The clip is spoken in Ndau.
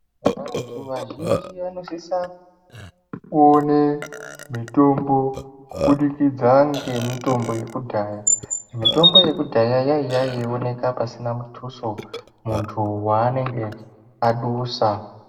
Vantu vazhinji vanosise kuone mitombo kubudikidza nemitombo yekudhaya mitombo yekudhaya yaiya mitombo yaioneka pasina mutuso muntu wanenge azusa.